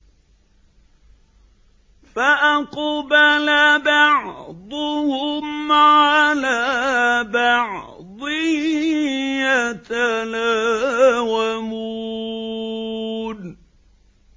فَأَقْبَلَ بَعْضُهُمْ عَلَىٰ بَعْضٍ يَتَلَاوَمُونَ